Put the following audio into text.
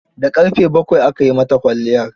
Da ƙarfe bakwai aka yi mata kwalliyar.